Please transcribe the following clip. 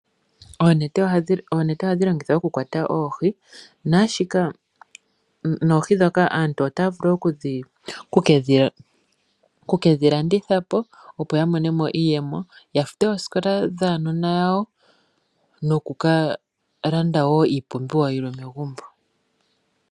Onete ohadhi longithwa okukwata oohi, naashika noohi dhoka aantu otaavulu okudhilandithapo opo yamonemo iiyemo yafute oosikola dhaanona yawo nokukalanda wo iipumbiwa yimwe megumbo.